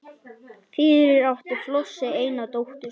Fyrir átti Flosi eina dóttur